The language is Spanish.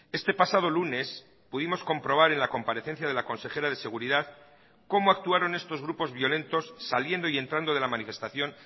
este pasado lunes pudimos comprobar en la comparecencia de la consejera de seguridad cómo actuaron estos grupos violentos saliendo y entrando de la manifestación